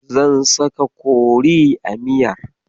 Zan saka kori a miyar.